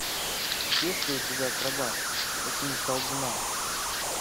есть ли у тебя акробат ученик колдуна